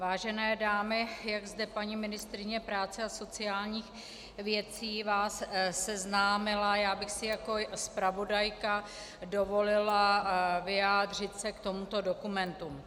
Vážené dámy, jak zde paní ministryně práce a sociálních věcí vás seznámila, já bych si jako zpravodajka dovolila vyjádřit se k tomuto dokumentu.